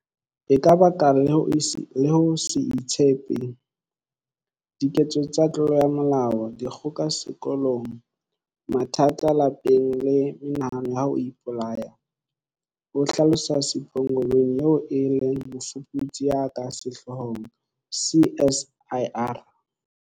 E ka baka le ho se itshepe, diketso tsa tlolo ya molao, dikgoka sekolong, mathata lapeng le menahano ya ho ipolaya, ho hlalosa Sipho Ngobeni eo e leng mofuputsi ya ka sehloohong CSIR.